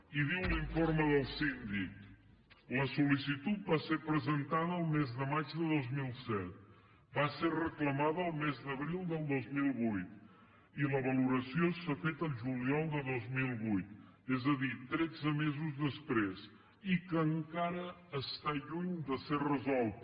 i diu l’informe del síndic la sol·licitud va ser presentada el mes de maig del dos mil set va ser reclamada el mes d’abril del dos mil vuit i la valoració s’ha fet el juliol de dos mil vuit és a dir tretze mesos després i que encara està lluny de ser resolta